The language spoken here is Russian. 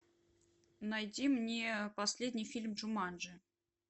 найди мне последний фильм джуманджи